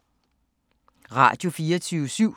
Radio24syv